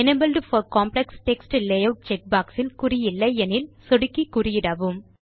enabled for complex text layout check box இல் குறி இல்லை எனில் சொடுக்கி குறியிடவும்